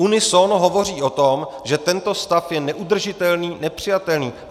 Unisono hovoří o tom, že tento stav je neudržitelný, nepřijatelný.